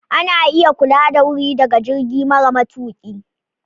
Ana iya kula da wuri daga jirgi mara matuƙi.